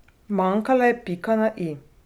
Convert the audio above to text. Manjkala je pika na i.